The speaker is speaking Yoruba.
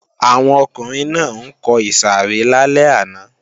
Àwọn ọkùnrin náà ń kọ ìsàrẹ́ lálẹ́ àná